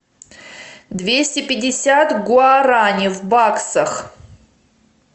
двести пятьдесят гуарани в баксах